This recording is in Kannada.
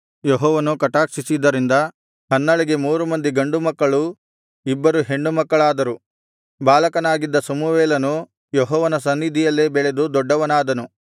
ಯೆಹೋವನು ಕಟಾಕ್ಷಿಸಿದ್ದರಿಂದ ಹನ್ನಳಿಗೆ ಮೂರು ಮಂದಿ ಗಂಡುಮಕ್ಕಳೂ ಇಬ್ಬರು ಹೆಣ್ಣುಮಕ್ಕಳಾದರು ಬಾಲಕನಾಗಿದ್ದ ಸಮುವೇಲನು ಯೆಹೋವನ ಸನ್ನಿಧಿಯಲ್ಲೇ ಬೆಳೆದು ದೊಡ್ಡವನಾದನು